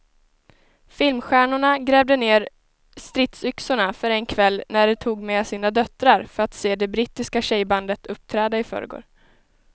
Filmstjärnorna grävde ned stridsyxorna för en kväll när de tog med sina döttrar för att se det brittiska tjejbandet uppträda i förrgår.